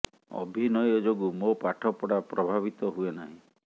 ଅଭିନୟ ଯୋଗୁଁ ମୋ ପାଠ ପଢ଼ା ପ୍ରଭାବିତ ହୁଏ ନାହିଁ